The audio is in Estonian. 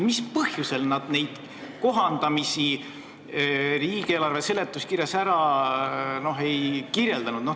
Mis põhjusel nad ei kirjeldanud neid kohandamisi riigieelarve seletuskirjas ära?